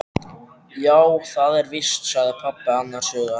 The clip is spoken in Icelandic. Já, það er víst sagði pabbi annars hugar.